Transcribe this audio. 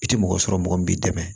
I tɛ mɔgɔ sɔrɔ mɔgɔ min b'i dɛmɛ